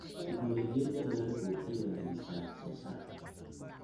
Tignoolajiyada beeruhu waxay wanaajisaa wax soo saarka.